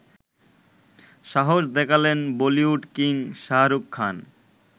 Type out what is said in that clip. সাহস দেখালেন বলিউড কিং শাহরুখ খান